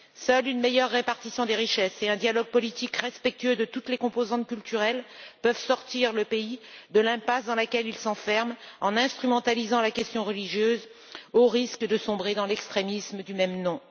Seule une meilleure répartition des richesses et un dialogue politique respectueux de toutes les composantes culturelles peuvent sortir le pays de l'impasse dans laquelle il s'enferme, en instrumentalisant la question religieuse, au risque de sombrer dans l'extrémisme du même nom.